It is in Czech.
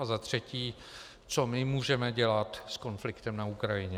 A za třetí, co my můžeme dělat s konfliktem na Ukrajině.